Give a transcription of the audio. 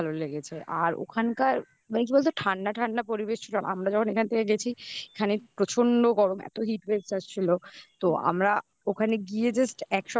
ভালো লেগেছে. আর ওখানকার মানে কি বলতো ঠাণ্ডা ঠাণ্ডা পরিবেশ ছিল. আমরা যখন এখান থেকে গেছি এখানে প্রচন্ড গরম এতো heat waves আসছিলো তো আমরা ওখানে গিয়ে just